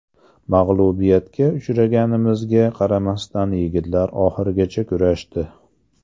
Mag‘lubiyatga uchraganimizga qaramasdan yigitlar oxirigacha kurashdi.